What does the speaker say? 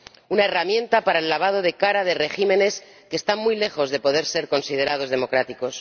una herramienta para el lavado de cara de regímenes que están muy lejos de poder ser considerados democráticos